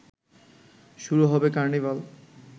শুরু হবে কর্নিভাল